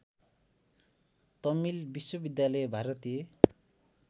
तमिल विश्वविद्यालय भारतीय